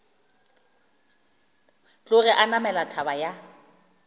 tloge a namela thaba ya